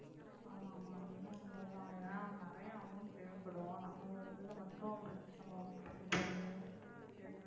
ஆமா ஆமா அது என்னவோ உண்மை தான் ஏன்னா நிறைய amount தேவைப்படும் நம்மளோடதுல மட்டும் நம்ம work பண்ணி போட்டு எதுவுமே